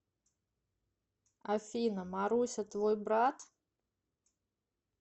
афина маруся твой брат